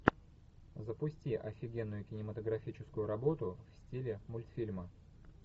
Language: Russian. запусти офигенную кинематографическую работу в стиле мультфильма